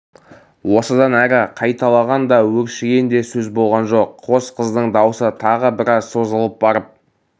осыдан әрі қайталаған да өршіген де сөз болған жоқ қос қыздың даусы тағы біраз созылып барып